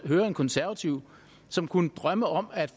høre en konservativ som kunne drømme om at